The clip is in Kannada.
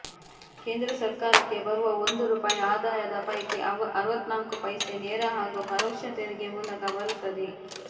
ಕೇಂದ್ರ ಸರ್ಕಾರಕ್ಕೆ ಬರುವ ಒಂದು ರುಪಾಯಿ ಆದಾಯದ ಪೈಕಿ ಅರವತ್ನಾಲ್ಕು ಪೈಸೆ ನೇರ ಹಾಗೂ ಪರೋಕ್ಷ ತೆರಿಗೆ ಮೂಲಕ ಬರುತ್ತದೆ